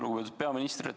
Lugupeetud peaminister!